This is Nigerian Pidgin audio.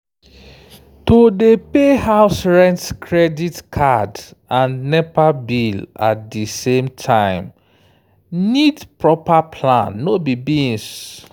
to dey pay house rent credit card and nepa bill at di same time need proper plan no be beans.